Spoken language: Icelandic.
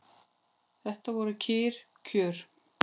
Þetta voru kyrr kjör.